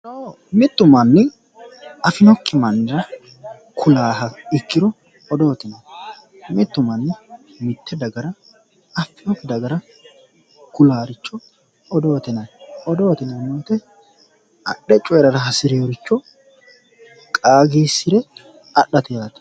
Mitu manni afinokki mannira ku'laha ikkiro odoote ,mitu manni mite dagara affinokki dagara ku'lanoricho odoote yinnanni, odoote yinneemmo woyte adhe"e coyirara hasirinoricho qaagisire adhate yaate.